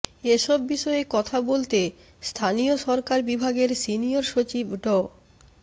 এসব বিষয়ে কথা বলতে স্থানীয় সরকার বিভাগের সিনিয়র সচিব ড